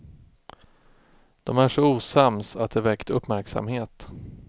De är så osams att det väckt uppmärksamhet.